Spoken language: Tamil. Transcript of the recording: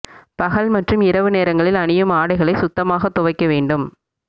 பகல் மற்றும் இரவு நேரங்களில் அணியும் ஆடைகளை சுத்தமாக துவைக்க வேண்டும்